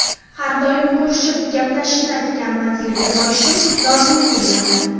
Har doim ko‘rishib gaplashishni, aytgan manziliga borishim lozimligini yozadi.